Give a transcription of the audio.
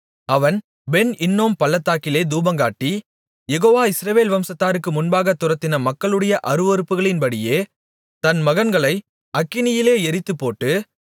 அவன் Ben Hinnom பள்ளத்தாக்கிலே தூபங்காட்டி யெகோவா இஸ்ரவேல் வம்சத்தாருக்கு முன்பாகத் துரத்தின மக்களுடைய அருவருப்புகளின்படியே தன் மகன்களை அக்கினியிலே எரித்துப்போட்டு